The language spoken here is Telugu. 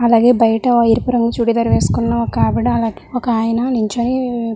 అలాగే బయట ఎరుపు రంగు చుడీదార్ వేసికున్న ఒక ఆవిడ ఒక ఆయన నించొని --